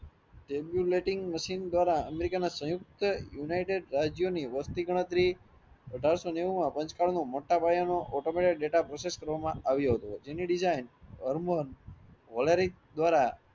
Tabulating machine દ્વારા અમેરિકાના સહયુક્ત યુનિટેડ રાજ્યોની વસ્તી ગણતરી અઢારસો નેઉ માં પાંચ કાર્ડ નું મોટા પાયાનો automated data process આવ્યો હતો એની design વોલરીક દ્વારા